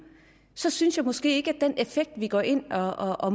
så synes jeg måske ikke at vi går ind og og